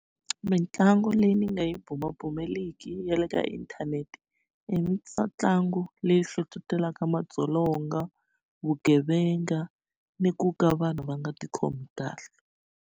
Mitlangu leyi ni nga yi bumabumeliki ya le ka inthanete i mitlangu leyi hlohlotelaka madzolonga vugevenga ni ku ka vanhu va nga ti khomi kahle.